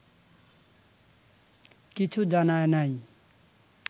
কিছু জানায় নাই